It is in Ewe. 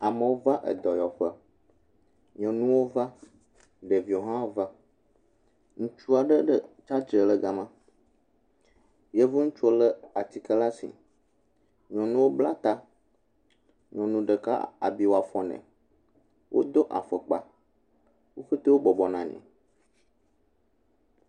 Amewo va edɔyɔƒe, nyɔnuwo va, ɖeviwo hã va, ŋutsua ɖe ɖe tsatsitre gama, yevu ŋutsu lé atike ɖe asi, nyɔnuwo bla ta, nyɔnu ɖeka abi wɔ afɔ nɛ, wodo afɔkpa, wo ƒete bɔbɔ nɔ anyi.